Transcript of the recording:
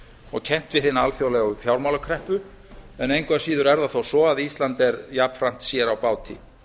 og kennt við hina alþjóðlegu fjármálakreppu en engu að síðu er ísland jafnframt sér á báti